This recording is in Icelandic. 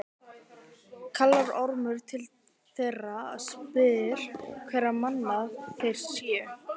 Kallar Ormur til þeirra og spyr hverra manna þeir séu.